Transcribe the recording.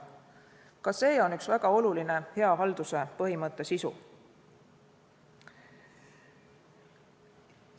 Ka see on väga oluline hea halduse põhimõtte sisu.